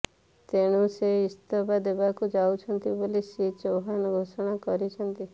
ତେଣୁ ସେ ଇସ୍ତଫା ଦେବାକୁ ଯାଉଛନ୍ତି ବୋଲିି ଶ୍ରୀ ଚୌହାନ ଘୋଷଣା କରିଛନ୍ତି